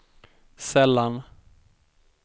sällan